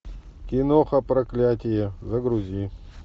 киноха проклятие загрузи